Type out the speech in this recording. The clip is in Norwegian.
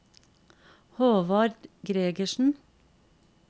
Håvard Gregersen